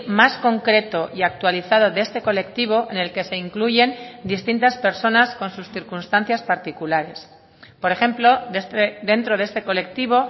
más concreto y actualizado de este colectivo en el que se incluyen distintas personas con sus circunstancias particulares por ejemplo dentro de este colectivo